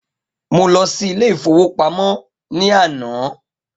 Mo lọ sí Ilé-ìfowópamó ní àná